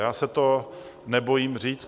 Já se to nebojím říct.